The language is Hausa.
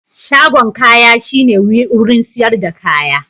Shagon kaya shine wurin siyar da kaya.